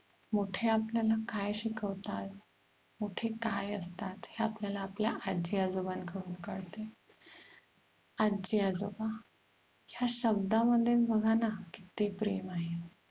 मोठे आपल्याला काय शिकवतात, मोठे काय असतात हे आपल्याला, आपल्या आजी आजोबांन कडून कळते. आजी आजोबा ह्या शाब्दा मध्येच बघाना किती प्रेम आहे.